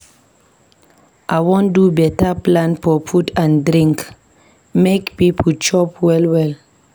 I wan do beta plan for food and drink make pipo chop well-well.